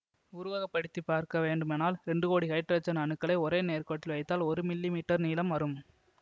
உருவகப்படுத்தி பார்க்க வேண்டுமானால் இரண்டு கோடி ஹைட்ரஜன் அணுக்களை ஒரு நேர்க்கோட்டில் வைத்தால் ஒரு மில்லிமீட்டர் நீளம் வரும்